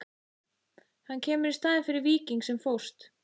Hann kemur í staðinn fyrir Víking sem fórst.